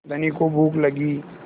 धनी को भूख लगी